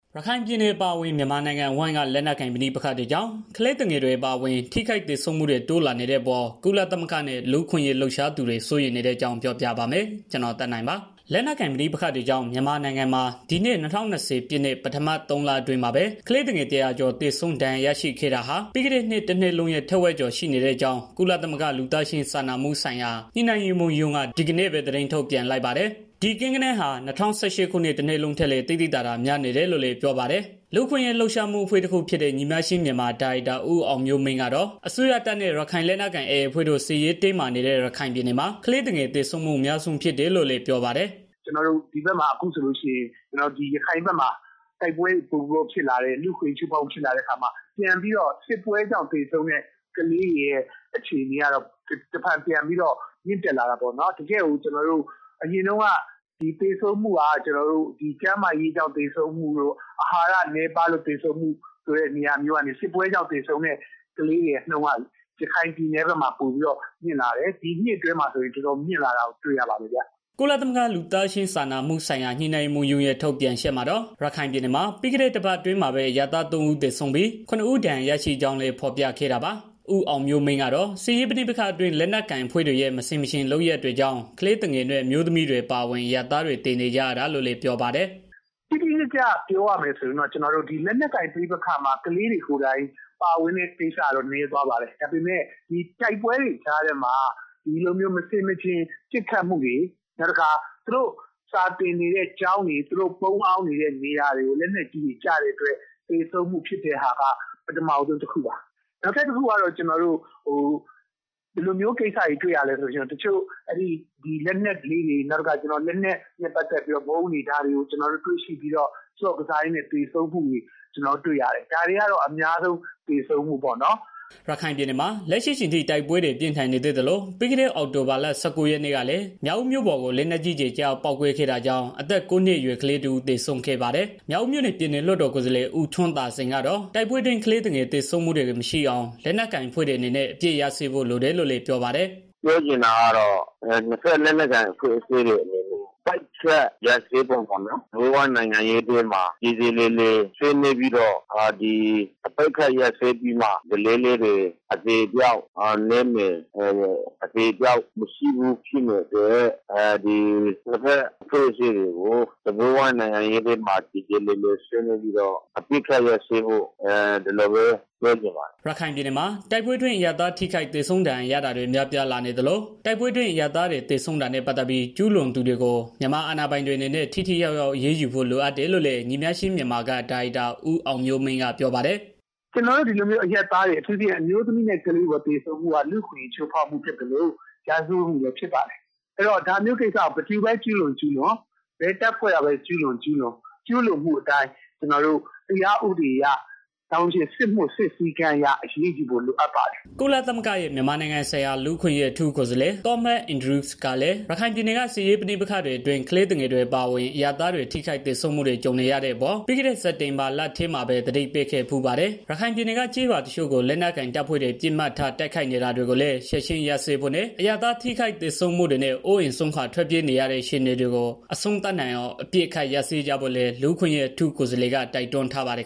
ရခိုင်ပြည်နယ် အပါအဝင် မြန်မာနိုင်ငံအဝန်းက လက်နက်ကိုင် ပဋိပက္ခတွေကြောင့် ကလေးငယ်တွေ အပါအဝင် ထိခိုက်သေဆုံးမှုတွေ တိုးလာနေတဲ့အပေါ် ကုလသမဂ္ဂနဲ့ လူ့အခွင့်အရေး လှုပ်ရှားသူတွေ စိုးရိမ်နေတဲ့အကြောင်းကို ဗွီအိုအေမြန်မာပိုင်း သတင်းထောက် ကိုသက်နိုင်က ပြောပြပေးပါမယ်။ လက်နက်ကိုင် ပဋိပက္ခတွေကြောင့် မြန်မာနိုင်ငံမှာ ဒီနှစ် ၂၀၂၀ ပြည့် ပထမ ၃ လအတွင်း ကလေးငယ် ၁၀၀ ကျော် သေကြေဒဏ်ရာ ရခဲ့တာဟာ ပြီးခဲ့တဲ့နှစ် တနှစ်လုံးရဲ့ ထက်ဝက်ကျော် ရှိနေတဲ့အကြောင်း ကုလသမဂ္ဂ လူသားချင်းစာနာမှုဆိုင်ရာ ညှိနှိုင်းရေးမှူးရုံးက ဒီကနေ့ပဲ သတင်းထုတ်ပြန်လိုက်ပါတယ်။ ဒီကိန်းဂဏန်းဟာ ၂၀၁၈ ခုနှစ် တနှစ်လုံးထက်လည်း သိသိသာသာ များနေတယ်လို့ ပြောပါတယ်။ လူ့အခွင့်အရေး လှုပ်ရှားမှု အဖွဲ့တခုဖြစ်တဲ့ ညီမျှခြင်းမြန်မာ ဒါရိုက်တာ ဦးအောင်မျိုးမင်းကတော့ အစိုးရတပ်နဲ့ ရခိုင်လက်နက်ကိုင် AA အဖွဲ့တို့ စစ်ရေးတင်းမာနေတဲ့ ရခိုင်ပြည်နယ်မှာ ကလေးသူငယ် သေဆုံးမှု အများဆုံးဖြစ်တယ်လို့ ပြောပါတယ်။ "ရခိုင်ဘက်မှာ အခုဆိုလို့ရှိရင် တိုက်ပွဲတွေ ပိုပြီးတော့ ဖြစ်လာတယ်။ လူ့အခွင့်အရေးချိုးဖောက်မှုတွေ ရှိလာတဲ့အခါမှာ ပြန်ပြီးတော့ တိုက်ပွဲကြောင့် သေဆုံးတဲ့ ကလေးတွေရဲ့ အခွင့်အရေးကတော့ တစ်ဖန်ပြန်ပြီးတော့ မြင့်တက်လာတာပေါ့နော်။ အရင်တုန်းက သေဆုံးမှုကကျနော်တို့ဒီ ကျန်းမာရေးကြောင့် သေဆုံးမှုတို့ အာဟာရနည်းပါးမှုကြောင့် သေဆုံးမှုတို့ နေရာမျိုးကနေ စစ်ပွဲကြောင့် သေဆုံးတဲ့ ကလေးတွေရဲ့ နှုန်းက ရခိုင်ပြည်နယ်ဘက်မှာ ပိုပြီးတော့ မြင့်လာတယ်။ ဒီနှစ်အတွင်းမှာဆိုရင် ပိုပြီးတော့ မြင့်လာတာကို တွေ့ရပါတယ်ခင်ဗျာ။" ကုလသမဂ္ဂ လူသားချင်းစာနာမှုဆိုင်ရာ ညှိနှိုင်းရေးမှူးရုံးရဲ့ ထုတ်ပြန်ချက်မှာတော့ ရခိုင်ပြည်နယ်မှာ ပြီးခဲ့တဲ့ တပတ်အတွင်းမှာပဲ အရပ်သား ၃ ဦး သေဆုံးပြီး၊ ၇ ဦး ဒဏ်ရာရခဲ့ကြောင်းလည်း ဖော်ပြခဲ့တာပါ။ ဦးအောင်မျိုးမင်းကတော့ စစ်ရေးပဋိပက္ခအတွင်း လက်နက်ကိုင်အဖွဲ့တွေရဲ့ မဆင်မခြင် လုပ်ရပ်တွေကြောင့် ကလေးငယ်တွေနဲ့ အမျိုးသမီးတွေ အပါအဝင် အရပ်သားတွေ သေကြေနေရတာလို့ ပြောပါတယ်။ "တိတိကျကျပြောရမယ်ဆိုရင်တော့ လက်နက်ကိုင်ပက္ခတွေအတွင်းမှာ ကလေးတွေ ကိုယ်တိုင် ပါဝင်တဲ့ ကိစ္စကတော့ နည်းသွားပါပြီ ဒါပေမဲ့ တိုက်ပွဲတွေ ကြားထဲမှာ မဆင်မခြင်ပစ်ခတ်တာတွေ နောက်ပြီးတော့ သူတို့စာသင်နေတဲ့ ကျောင်းတွေ သူတို့ပုန်းအောင်နေတဲ့ နေရာတွေကို လက်နက်ကြီးတွေ ကျတဲ့အတွက် သေဆုံးမှုဖြစ်တဲ့ဟာက ပထမဆုံးတစ်ခုပါ။ နောက်တစ်ခုက ဘာတွေ့ရလဲဆိုတော့ တိုက်ပွဲအတွင်းမှာ လက်နက်တွေ ဗုံးတွေကို တွေ့ရှိပြီးတော့ ဆော့ကစားတဲ့ သေဆုံးမှုတွေ ရှိတာကိုလည်း တွေ့ရတယ်။ ဒီဟာကတော့ အများဆုံးပေါ့။" ရခိုင်ပြည်နယ်မှာ လက်ရှိအချိန်ထိ တိုက်ပွဲတွေ ပြင်းထန်နေသေးသလို ပြီးခဲတဲ့ အောက်တိုဘာလ ၁၉ ရက်နေ့ ကလည်း မြောက်ဦးမြို့ပေါ်ကို လက်နက်ကြီးကျည် ကျရောက်ပေါက်ကွဲခဲ့တာကြောင့် အသက် ၉ နှစ် အရွယ်ကလေး တစ်ဦးသေဆုံးခဲ့ပါတယ်။ မြောက်ဦးမြို့နယ် ပြည်နယ်လွှတ်တော်ကိုယ်စားလှယ် ဦးထွန်းသာစိန်ကတော့ တိုက်ပွဲအတွင်း ကလေးသူငယ်သေဆုံးမှုတွေကို မရှိအောင် လက်နက်ကိုင် အဖွဲ့တွေ အနေနဲ့ အပစ်ရပ်စဲဖို့ လိုတယ်လို့လည်း ပြောပါတယ်။ "ပြောချင်တာကတော့ နှစ်ဘက်လက်နက်ကိုင် အဖွဲ့အစည်းတွေ အနေနဲ့ ပစ်ခတ်ရပ်ဆဲဖို့ပေါ့နော်။ စားပွဲဝိုင်းနိုင်ငံရေးထဲမှာ ပြေပြေလည်လည်ဆွေးနွေးပြီးတော့ အပစ်ရပ်မှပဲ ကလေးတွေ သေဆုံးမှုက နည်းလာမယ်။ ကလေးတွေ သေတာမရှိဖို့အတွက် နှစ်ဘက်အဖွဲ့အစည်းတွေအနေနဲ့ အပစ်ရပ်ပြီး စားပွဲဝိုင်းမှာဆွေးနွေးဖို့လိုတယ်လို့ပြောချင်ပါတယ်။" ရခိုင်ပြည်နယ်မှာ တိုက်ပွဲအတွင်း အရပ်သား ထိခိုက်သေဆုံးဒဏ်ရာရတာတွေ များပြားလာနေသလို တိုက်ပွဲအတွင်း အရပ်သားတွေ သေဆုံးတာနဲ့ပတ်သတ်ပြီး ကျူးလွန်သူတွေကို မြန်မာအာဏာပိုင်တွေအနေနဲ့ ထိရောက်စွာအရေးယူဖို့ လိုအပ်တယ်လို့လည်း ညီမျှခြင်းမြန်မာက ဒါရိုက်တာ ဦးအောင်မျိုးမင်းက ပြောပါတယ်။ "ကျနော်တို့ ဒီလိုအရပ်သားတွေ အထူးသဖြင့် အမျိုးသမီးတွေနဲ့ ကလေးတွေ သေဆုံးတာက လူ့အခွင့်အရေး ချိုးဖောက်တာဖြစ်သလို ရာဇဝတ်မှုလည်း ဖြစ်ပါတယ်။ ဒါမျိုးကိစ္စကို ဘယ်သူပဲ ကျူးလွန်၊ ကျူးလွန် ဘယ်တပ်ဖွဲ့ကပဲ ဖြစ်ဖြစ် ကျုးလွန်သူကို တရားဥပဒေအတိုင်း စစ်စည်းကမ်း အတိုင်းအရေး ယူဖို့လည်း လိုအပ်ပါတယ်။" ကုလသမဂ္ဂရဲ့ မြန်မာနိုင်ငံဆိုင်ရာ လူ့အခွင့်အရေး အထူးကိုယ်စားလှယ် Thomas Andrews ကလည်း ရခိုင်ပြည်နယ်က စစ်ရေးပဋိပက္ခအတွင်း ကလေးငယ်တွေ အပါအဝင် အရပ်သားတွေ ထိခိုက်သေဆုံးမှုတွေ ကြုံနေရတဲ့အပေါ် ပြီးခဲ့တဲ့ စက်တင်ဘာလထဲမှာပဲ သတိပေးခဲ့ဖူးပါတယ်။ ရခိုင်ပြည်နယ်က ကျေးရွာတွေကို လက်နက်ကိုင်တပ်ဖွဲ့တွေ ပစ်မှတ်ထား တိုက်ခိုက်နေတာတွေကိုလည်း ချက်ခြင်းရပ်ဖို့နဲ့ အရပ်သား ထိခိုက်သေဆုံးမှုတွေနဲ့ အိုးအိမ်စွန့်ခွာ ထွက်ပြေးနေရတဲ့ အခြေအနေတွေ အဆုံးသတ်နိုင်အောင် အပစ်အခတ် ရပ်စဲကြဖို့လည်း လူ့အခွင့်အရေး အထူးကိုယ်စားလှယ်က တိုက်တွန်းထားပါတယ်